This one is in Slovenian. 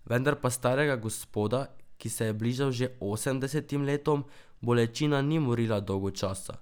Vendar pa starega gospoda, ki se je bližal že osemdesetim letom, bolečina ni morila dolgo časa.